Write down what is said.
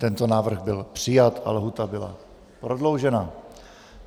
Tento návrh byl přijat a lhůta byla prodloužena.